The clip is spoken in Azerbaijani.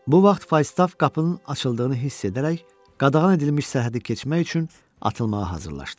Bu vaxt Faistav qapının açıldığını hiss edərək, qadağan edilmiş sərhədi keçmək üçün atılmağa hazırlaşdı.